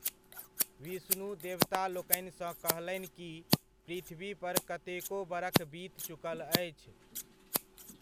विष्णु देवतालोकनिसँ कहलनि कि पृथ्वी पर कतेको बरख बीत चुकल अछि।